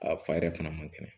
A fa yɛrɛ fana man kɛnɛ